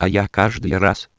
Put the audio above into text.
а я каждый